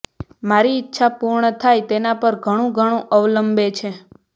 મારી ઈચ્છા પૂર્ણ થાય તેના પર ઘણું ઘણું અવલંબે છે